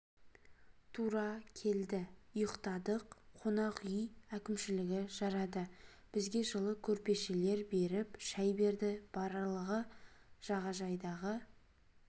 тура келді ұйықтадық қонақ үй әкімшілігі жарады бізге жылы көрпешелер беріп шәй берді барлығы жағажайдағы